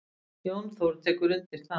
Jón Þór tekur undir það.